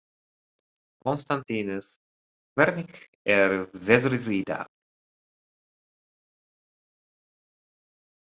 Konstantínus, hvernig er veðrið í dag?